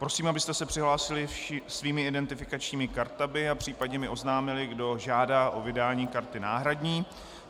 Prosím, abyste se přihlásili svými identifikačními kartami a případně mi oznámili, kdo žádá o vydání karty náhradní.